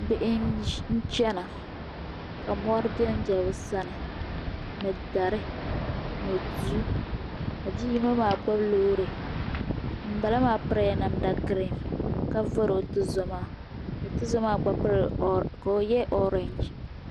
Bihi n chena ka mori benbe bɛ sani ni dari ni duu ka bia yino maa gbibi loori ŋunbala maa pirila namda girin ka vori o tuzo maa ka o ye orinji.